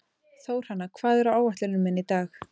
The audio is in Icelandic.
Þórhanna, hvað er á áætluninni minni í dag?